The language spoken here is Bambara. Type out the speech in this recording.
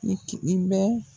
N'i k'i i bɛ